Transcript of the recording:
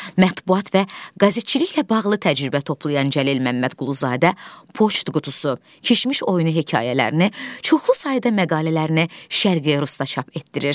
Mətbəat və qəzetçiliklə bağlı təcrübə toplayan Cəlil Məmmədquluzadə poçt qutusu, kişmiş oyunu hekayələrini, çoxlu sayda məqalələrini Şərqi Rusda çap etdirir.